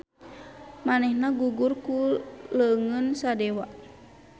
Manehna gugur ku leungeun Sadewa.